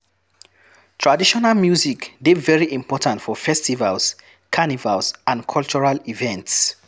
Traditional music de very important for festivals, carnivals and cultural events